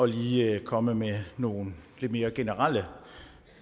lige at komme med nogle lidt mere generelle